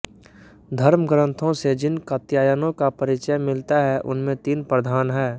धर्मग्रंथों से जिन कात्यायनों का परिचय मिलता है उनमें तीन प्रधान हैं